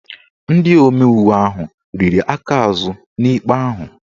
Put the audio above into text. Ndị omeiwu ahụ riri aka azụ n'ikpe ahụ